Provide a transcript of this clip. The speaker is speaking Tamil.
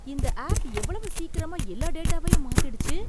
இந்த ஆப் எவ்வளவு சீக்கிரமா எல்லா டேட்டாவையும் மாத்திடுச்சு!